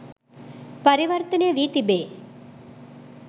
පරිවර්තනය වී තිබේ